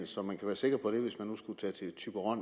så man kan være sikker på det hvis man nu skulle tage